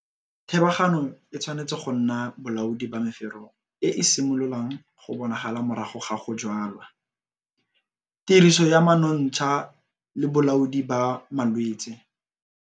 Thebagano e tshwanetse go nna bolaodi ba mefero e e simololang go bonala morago ga go jwala, tiriso ya monontsha le bolaodi ba malwetse.